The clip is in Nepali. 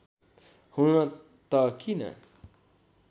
हुन त किन